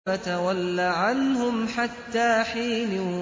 فَتَوَلَّ عَنْهُمْ حَتَّىٰ حِينٍ